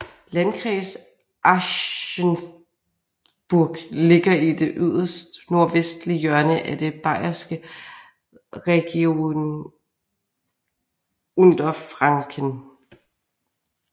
Landkreis Aschaffenburg ligger i det yderst nordvestlige hjørne af det bayerske Regierungsbezirk Unterfranken